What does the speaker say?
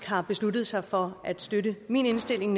har besluttet sig for at støtte min indstilling